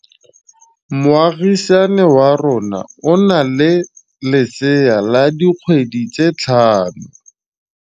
Moagisane wa rona o na le lesea la dikgwedi tse tlhano.